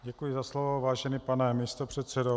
Děkuji za slovo, vážený pane místopředsedo.